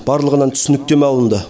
барлығынан түсініктеме алынды